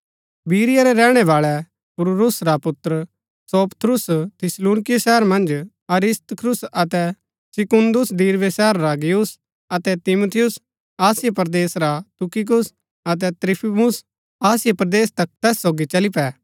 बिरीया रै रैहणै बाळै पुर्रूस रा पुत्र सोपत्रुस थिस्सलुनीकियों शहर मन्ज अरिस्तर्खुस अतै सिकुन्दुस दिरबे शहर रा गयुस अतै तीमुथियुस आसिया परदेस रा तुखिकुस अतै त्रुफिमुस आसिया परदेस तक तैस सोगी चली पै